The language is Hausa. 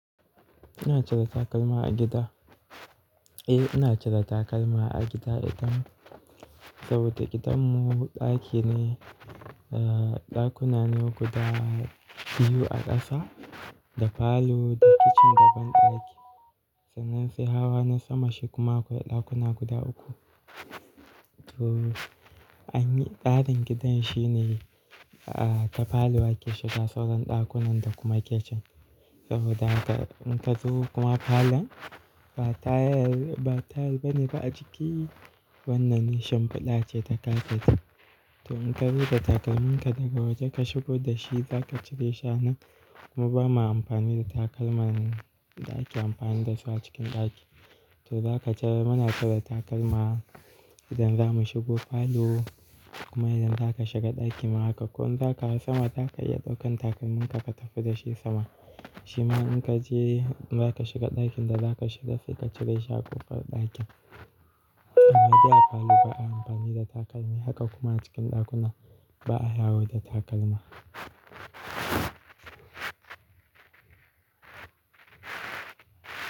Ina cire takalma a gida? Eh ina cire takalma a gida idan, saboda gidan mu ɗaki ne, a ɗakuna ne guda biyu a ƙasa da falo da kicin da banɗaki. Sannan sai hawa na sama shi kuma akwai ɗakuna guda uku. To anyi, tsarin gidan shi ne a ta falo ake shiga sauran ɗakunan da kuma kicin saboda haka in ka zo kuma falon ba tayal, ba tayal bane ba a aciki wannan ne shimfiɗa ce ta kafet to in ka zo da takalmin ka daga waje ka shigo da shi zaka cire shi a nan, kuma ba ma amfani da takalman mu da ake amfani da su a cikin ɗaki. To zaka cire muna cire takalma idan za mu shigo falo kuma idan zaka shiga ɗaki ma haka. Ko in zaka hau sama zaka iya ɗaukan takalminka ka tafi da shi sama. Shima in ka je zaka shiga ɗakin da zaka shiga sai ka cire shi a ƙofar ɗakin. Sai dai a falo ba a amfani da takalma haka kuma a cikin ɗakuna ba a yawo da takalma.